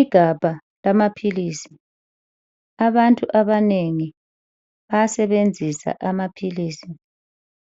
Igabha lamaphilisi. Abantu abanengi bayasebenzisa amaphilisi